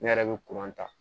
Ne yɛrɛ bɛ ta